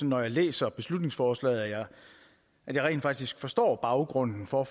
når jeg læser beslutningsforslaget at jeg rent faktisk forstår baggrunden for